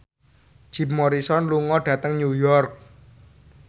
Jim Morrison lunga dhateng New York